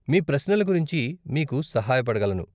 మీ ప్రశ్నల గురించి మీకు సహాయపడగలను.